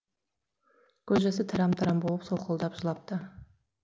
көз жасы тарам тарам болып солқылдап жылапты